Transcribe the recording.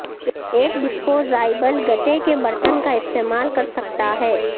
ایک ڈسپوزایبل گتے کے برتن کا استعمال کرسکتا ہے